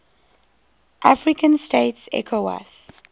african states ecowas